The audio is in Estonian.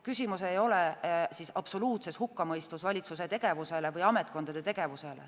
Küsimus ei ole absoluutses hukkamõistus valitsuse tegevusele või ametkondade tegevusele.